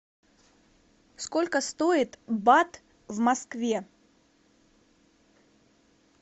сколько стоит бат в москве